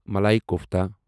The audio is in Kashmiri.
مَلَایی کوفتا